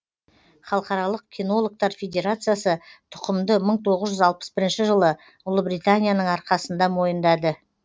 халықаралық кинологтар федерациясы тұқымды мың тоғыз жүз алпыс бірінші жылы ұлыбританияның арқасында мойындады